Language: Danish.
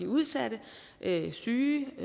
udsatte syge